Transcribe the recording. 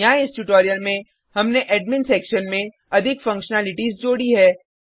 यहाँ इस ट्यूटोरियल में हमने एडमिन सेक्शन में अधिक फंक्शनैलिटीज़ जोड़ी है